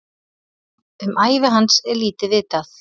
Um ævi hans er lítið vitað.